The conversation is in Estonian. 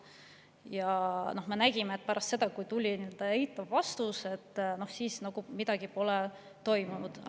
Ja me nägime, et pärast seda, kui tuli eitav vastus, pole midagi toimunud.